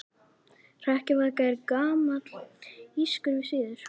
Hrekkjavaka er gamall írskur siður.